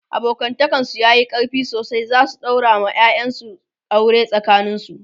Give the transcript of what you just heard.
abokantakan su yayi ƙarfi sosai zasu daura wa ƴaƴan su aure ,they will marry thier children to each other